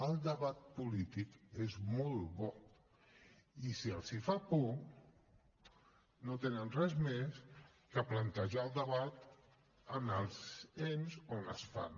el debat polític és molt bo i si els fa por no tenen res més que plantejar el debat en els ens on es fan